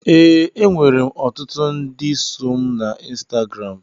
Ee, enwere m ọtụtụ ndị so mụ na Insitagaram